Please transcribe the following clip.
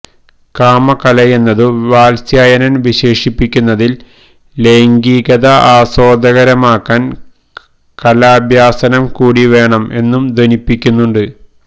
കാമകലയെന്നതു വാത്സ്യായനൻ വിശേഷിപ്പിക്കുന്നതിൽ ലൈംഗികത ആസ്വാദ്യകരമാക്കാൻ കലാഭ്യാസനം കൂടി വേണം എന്നു ധ്വനിപ്പിക്കുന്നുണ്ട്